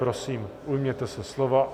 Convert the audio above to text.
Prosím, ujměte se slova.